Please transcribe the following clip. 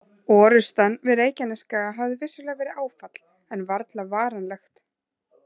Orrustan við Reykjanesskaga hafði vissulega verið áfall, en varla varanlegt.